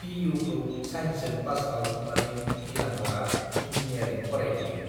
पिइउखौ साइन्सजों पास खालामखांनानै नीलाम्बरआ इन्जिनियारिं फरायहैयो।